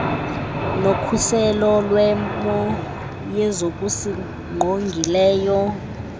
nokhuselo lwemo yezokusingqongileyo